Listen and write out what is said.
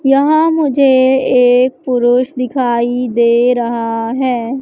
यहां मुझे एक पुरुष दिखाई दे रहा है।